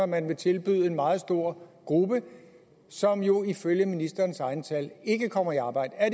man vil tilbyde en meget stor gruppe som jo ifølge ministerens egne tal ikke kommer i arbejde er